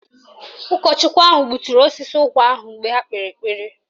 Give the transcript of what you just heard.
Ụkọchukwu ahụ gbuturu osisi ụkwa ahụ mgbe ha kpere ekpere